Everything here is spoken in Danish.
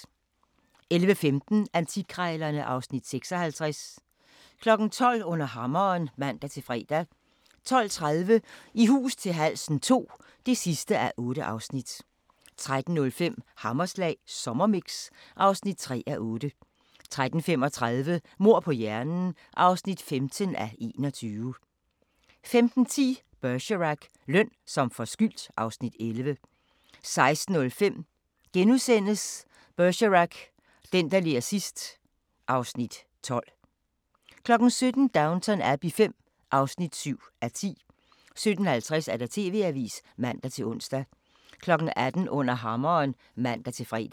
11:15: Antikkrejlerne (Afs. 56) 12:00: Under Hammeren (man-fre) 12:30: I hus til halsen II (8:8) 13:05: Hammerslag Sommermix (3:8) 13:35: Mord på hjernen (15:21) 15:10: Bergerac: Løn som forskyldt (Afs. 11) 16:05: Bergerac: Den, der ler sidst ... (Afs. 12)* 17:00: Downton Abbey V (7:10) 17:50: TV-avisen (man-ons) 18:00: Under Hammeren (man-fre)